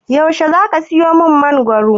Yaushe zaka siyo min mangoro?